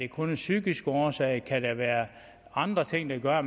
kun er psykiske årsager kan være andre ting der gør at